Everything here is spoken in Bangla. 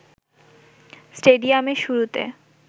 স্টেডিয়ামে শুরুতে